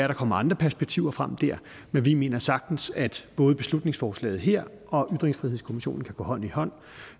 der kommer andre perspektiver frem der men vi mener sagtens at både beslutningsforslaget her og ytringsfrihedskommissionen kan gå hånd i hånd